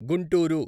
Guntur